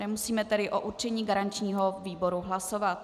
Nemusíme tedy o určení garančního výboru hlasovat.